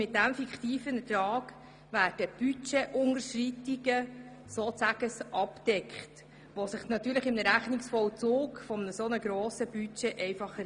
Mit diesem fiktiven Ertrag werden Budgetunterschreitungen ausgeglichen, die sich im Rechnungsvollzug eines so grossen Budgets ergeben.